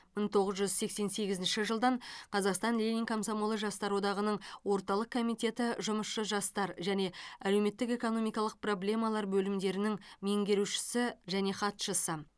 мың тоғыз жүз сексен сегізінші жылдан қазақстан ленин комсомолы жастар одағының орталық комитеті жұмысшы жастар және әлеуметтік экономикалық проблемалар бөлімдерінің меңгерушісі және хатшысы